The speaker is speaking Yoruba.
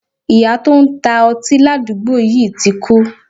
Iyá to n ta oti ladugbo yi ti kú